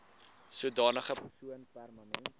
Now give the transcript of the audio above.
sodanige persoon permanent